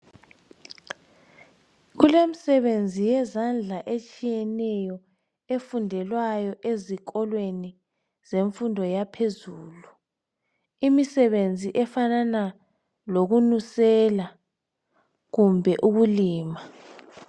Kulemisebenzi yezandla etshiyeneyo efundelwayo ezikolweni zemfundo yaphezulu, imisebenzi efanana lokunusela kumbe ukulima.